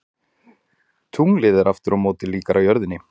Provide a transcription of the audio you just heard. Tunglið er aftur á móti líkara jörðinni.